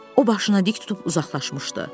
O başını dik tutub uzaqlaşmışdı.